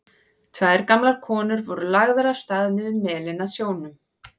Tvær gamlar konur voru lagðar af stað niður melinn að sjónum.